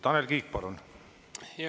Tanel Kiik, palun!